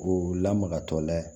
K'o lamagatɔ layɛ